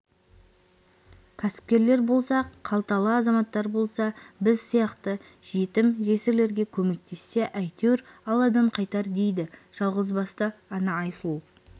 кәсіпкерлер болса қалталы азаматтар болса біз сияқты жетім-жесірлерге көмектессе әйтеуір алладан қайтар дейді жалғызбасты ана айсұлу